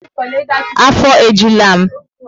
Afo e jula m